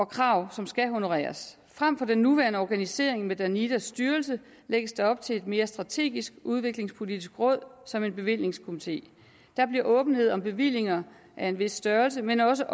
krav som skal honoreres frem for den nuværende organisering med danidas styrelse lægges der op til et mere strategisk udviklingspolitisk råd som en bevillingskomité der bliver åbenhed om bevillinger af en vis størrelse men også